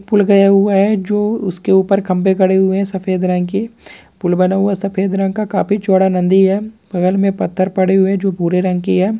पुल गया हुआ है जो उसके ऊपर खम्भे गड़े हुए है सफेद रंग की पुल बना हुआ है सफेद रंग का काफी चौड़ा नन्दी है बगल में पत्थर पड़े हुए है जो भूरे रंग की है।